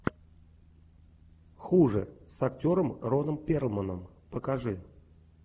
хуже с актером роном перлманом покажи